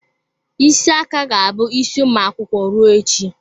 Isi aka ga-abụ isi ụmụ akwụkwọ ruo echi.